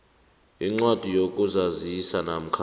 incwadi yokuzazisa namkha